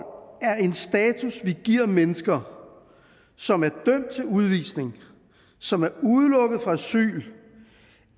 er en status vi giver mennesker som er dømt til udvisning som er udelukket fra asyl